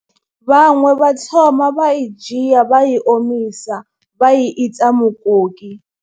Vhaṅwe vha thoma vha i dzhia vha i omisa vha i ita mukoki.